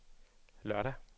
lørdag